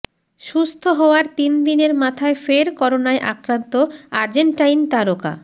সুস্থ হওয়ার তিনদিনের মাথায় ফের করোনায় আক্রান্ত আর্জেন্টাইন তারকা